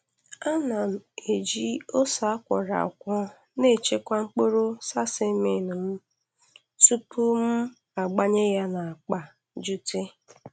Ana m eji ose a kwọrọ akwọ na-echekwa mkpụrụ sesame m tupu m gbanye ya n'akpa jute.